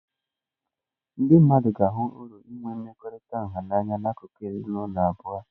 Ndị mmadụ ga-ahụ uru nke inwe mmekọrịta nha anya na akụkụ abụọ nke ezinụlọ.